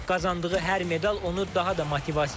Qazandığı hər medal onu daha da motivasiya edir.